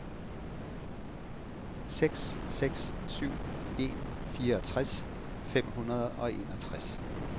seks seks syv en fireogtres fem hundrede og enogtres